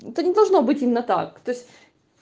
это не должно быть именно так то есть